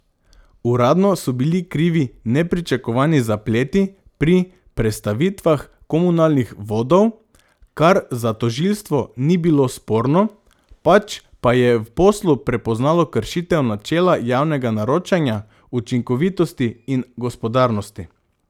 Uradno so bili krivi nepričakovani zapleti pri prestavitvah komunalnih vodov, kar za tožilstvo ni bilo sporno, pač pa je v poslu prepoznalo kršitev načela javnega naročanja, učinkovitosti in gospodarnosti.